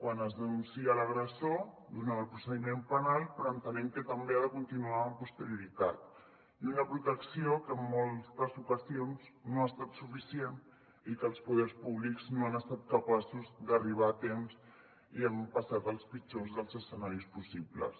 quan es denuncia l’agressor durant el procediment penal però entenem que també ha de continuar amb posterioritat i una protecció que en moltes ocasions no ha estat suficient i que els poders públics no han estat capaços d’arribar a temps i hem passat els pitjors dels escenaris possibles